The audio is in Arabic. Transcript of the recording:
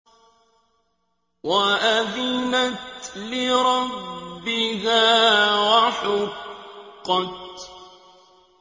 وَأَذِنَتْ لِرَبِّهَا وَحُقَّتْ